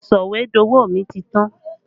Sọ̀wédowó mi ti tán